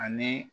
Ani